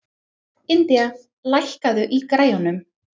Indía, lækkaðu í græjunum.